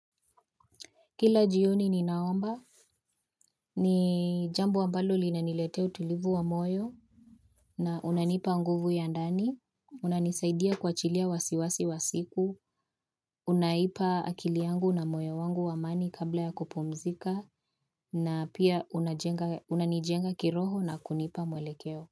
Kila jioni ninaomba, ni jambo ambalo linaniletea utulivu wa moyo, na unanipa nguvu ya ndani, unanisaidia kuachilia wasiwasi wa siku, unaipa akili yangu na moyo wangu wa amani kabla ya kupumzika, na pia unanijenga kiroho na kunipa mwelekeo.